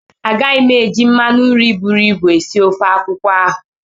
Agaghị m eji mmanụ nri buru ibu esi ofe akwụkwọ ahụ.